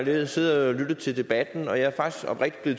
jeg siddet og lyttet til debatten og jeg er faktisk oprigtigt